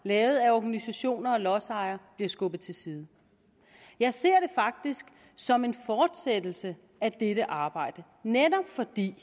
lavet af organisationer og lodsejere bliver skubbet til side jeg ser det faktisk som en fortsættelse af dette arbejde netop fordi